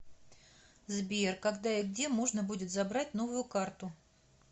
сбер когда и где можно будет забрать новую карту